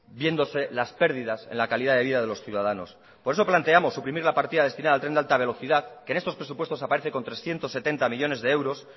viéndose las pérdidas en la calidad de vida de los ciudadanos por eso planteamos suprimir la partida destinada al tren de alta velocidad que en estos presupuestos aparece con trescientos setenta millónes de euros